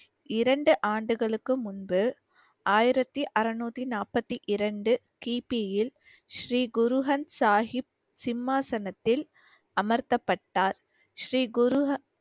இரண்டு ஆண்டுகளுக்கு முன்பு ஆயிரத்தி அறநூத்தி நாற்பத்தி இரண்டு கி. பி யில் ஸ்ரீ குரு அந்த் சாகிப் சிம்மாசனத்தில் அமர்த்தப்பட்டார். ஸ்ரீ குரு ஹ~